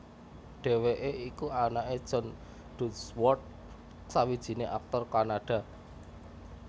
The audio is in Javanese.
Dhèwèké iku anaké John Dunsworth sawijiné aktor Kanada